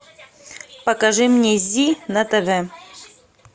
покажи мне зи на тв